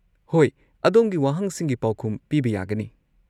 ꯍꯣꯏ, ꯑꯗꯣꯝꯒꯤ ꯋꯥꯍꯪꯁꯤꯡꯒꯤ ꯄꯥꯎꯈꯨꯝ ꯄꯤꯕ ꯌꯥꯒꯅꯤ꯫